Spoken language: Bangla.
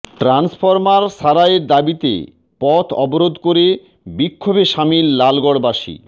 ট্রান্সফরমার সারাইয়ের দাবিতে পথ অবরোধ করে বিক্ষোভে সামিল লালগড়বাসী